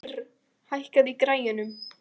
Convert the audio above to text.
Ýrr, hækkaðu í græjunum.